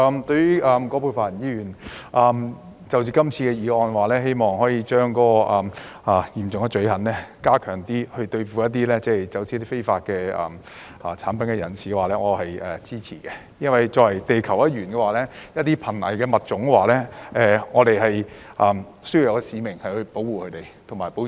對於葛珮帆議員提出這項議案，希望把嚴重罪行擴大，以對付走私非法產品的人，我表示支持，因為作為地球一員，我們有使命去保護瀕危物種。